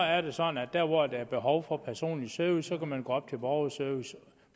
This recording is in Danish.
er det sådan at der hvor der er behov for personlig service kan man gå op til borgerservice